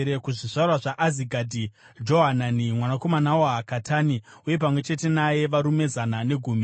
kuzvizvarwa zvaAzigadhi, Johanani mwanakomana waHakatani, uye pamwe chete naye varume zana negumi;